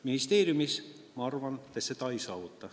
Ministeeriumis, ma arvan, te seda ei saavuta.